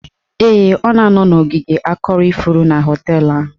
Ee, ọ na-anọ n'ogige akọrọ ifuru na họteelụ ahụ